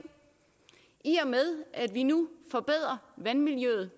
i og med at vi nu forbedrer vandmiljøet